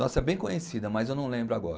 Nossa, é bem conhecida, mas eu não lembro agora.